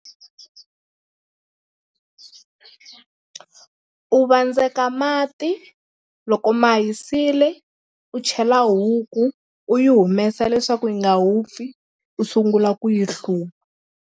U vandzeka mati loko ma hisile u chela huku u yi humesa leswaku yi nga vupfi u sungula ku yi hluva.